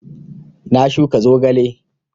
Na shuka zogale